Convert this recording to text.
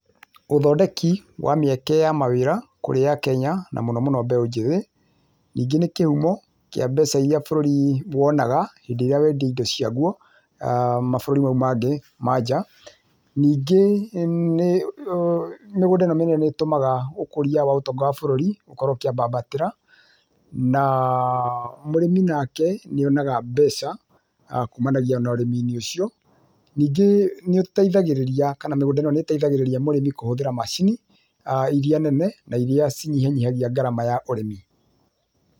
Ũthondeki wa mĩeke ya mawĩra kũrĩ akenya na mũno mũno, mbeũ njĩthĩ. Ningĩ nĩ kĩhumo kĩa mbeca iria bũrũrĩ wonaga hĩndĩ ĩrĩa wendia indo cia guo, mabũrũri mau mangĩ ma nja. Ningĩ mĩgũnda ĩno mĩnene nĩ ĩtumaga, ũkũria wa ũtonga wa bũrũri gũkorwo ũkĩambambatĩra, na mũrĩmi nake nĩonaga mbeca kuumanagia na ũrĩmi ũcio. Ningĩ, nĩũtethagĩrĩrĩ kana mĩgũnda ĩno nĩ ĩteithagĩrĩria mũrĩmi kũhũthĩra macini, iria nene na iria cinyahinyihagia ngarama ya ũrĩmi.